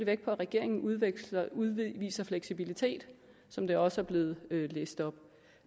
vægt på at regeringen udviser udviser fleksibilitet som det også er blevet læst op